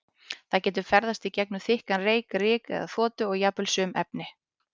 Það getur ferðast í gegnum þykkan reyk, ryk eða þoku og jafnvel sum efni.